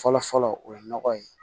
Fɔlɔ fɔlɔ o ye nɔgɔ ye